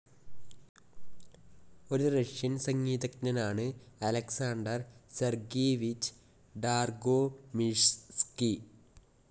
ഒരു റഷ്യൻ സംഗീതജ്ഞനാണ് Alexander Sergeyevich Dargomyzhsky.